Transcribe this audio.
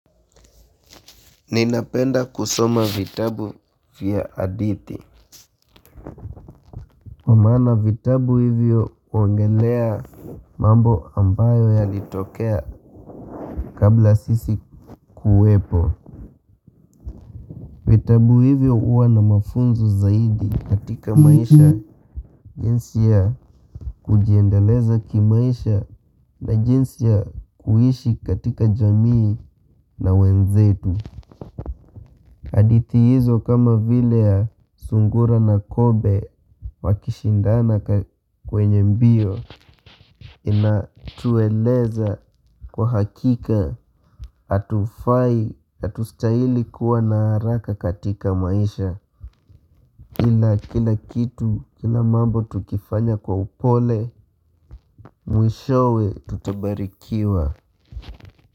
Ninapenda kusoma vitabu vya hadithi maana vitabu hivyo waongelea mambo ambayo yalitokea Kabla sisi kuwepo vitabu hivyo huwa na mafunzo zaidi katika maisha jinsi ya kujiendeleza kimaisha na jinsi ya kuishi katika jamii na wenzetu hadithi hizo kama vile ya sungura na kobe wakishindana kwenye mbio inatueleza kwa hakika hatufai hatustahili kuwa na haraka katika maisha ila kila kitu kila mambo tukifanya kwa upole mwishowe tutabarikiwa.